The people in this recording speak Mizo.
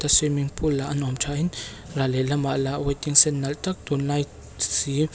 swimming pool lah a nuam nuam tha in ral leh lamah lah waiting shed nalh tak tunlai si--